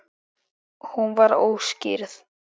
Hún var óskírð.